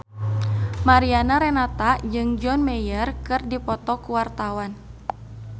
Mariana Renata jeung John Mayer keur dipoto ku wartawan